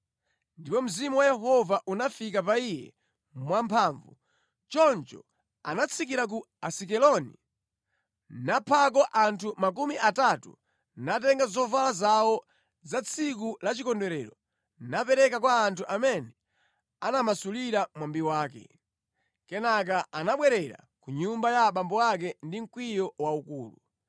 Ndipo Mzimu wa Yehova unafika pa iye mwamphamvu. Choncho anatsikira ku Asikeloni naphako anthu makumi atatu, natenga zovala zawo za tsiku la chikondwerero napereka kwa anthu amene anamasulira mwambi wake. Kenaka anabwerera ku nyumba ya abambo ake ndi mkwiyo waukulu.